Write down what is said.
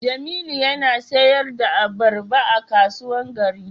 Jamilu yana sayar da albarba a kasuwan gari.